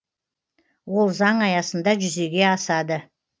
ол заң аясында жүзеге асады